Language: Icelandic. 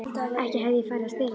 Ekki hefði ég farið að stela því.